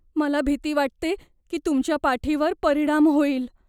मला भीती वाटते की तुमच्या पाठीवर परिणाम होईल.